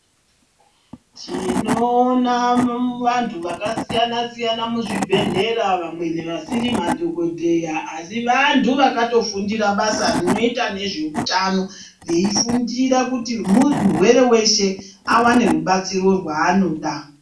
Tinoona vantu vakasiyana siyana muzvibhedhlera vamweni vasiri madhogodheya asi vantu vakatofundira basa rinoita nezveutano veifundira kuti murwere weshe awane rubatsiro rwaanoda.